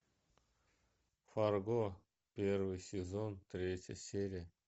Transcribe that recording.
фарго первый сезон третья серия